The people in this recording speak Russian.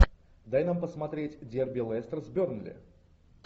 дай нам посмотреть дерби лестер с бернли